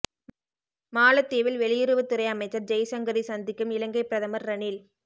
மாலத்தீவில் வெளியுறவுத் துறை அமைச்சர் ஜெய்சங்கரை சந்திக்கும் இலங்கை பிரதமர் ரணில்